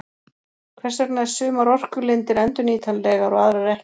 Hvers vegna er sumar orkulindir endurnýtanlegar og aðrar ekki?